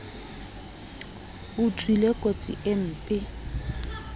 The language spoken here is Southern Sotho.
o tswile kotsi e mpe